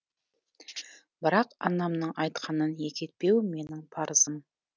бірақ анамның айтқанын екі етпеу менің парызым